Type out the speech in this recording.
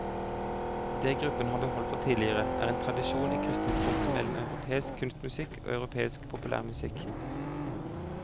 Det gruppen har beholdt fra tidligere, er en tradisjon i krysningspunktet mellom europeisk kunstmusikk og europeisk populærmusikk.